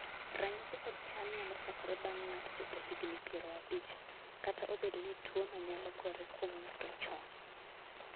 ranyisi kod chal nyalo chakore bang' ng'ato chopo higni piero abich ,kata obedo ni tuono nyalo gore kuom ng'ato chon